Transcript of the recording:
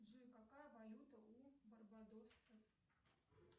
джой какая валюта у барбадосцев